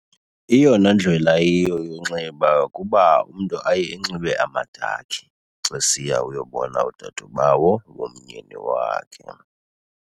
Eyona ndlela iyiyo yonxiba kuba umntu aye enxibe amadakhi xa esiya uyobona udadobawo womyeni wakhe.